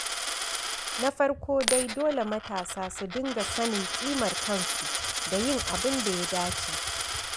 Na farko dai dole matasa su dinga sanin ƙimar kansu da yin abin da ya dace.